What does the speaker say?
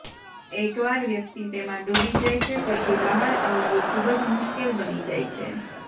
એકવાર વ્યક્તિ તેમાં ડૂબી જાય છે પછી બહાર આવવું ખૂબ જ મુશ્કેલ બની જાય છે